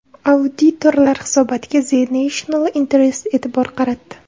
Auditorlar hisobotiga The National Interest e’tibor qaratdi .